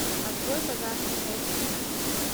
открой пожарная часть девятнадцать